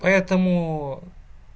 поэтому